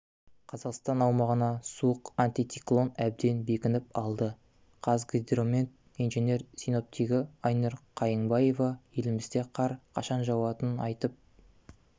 қазақстан аумағына суық антициклон әбден бекініп алды қазгидромет инженер-синоптигі айнұр қайыңбаева елімізде қар қашан жауатынын айтып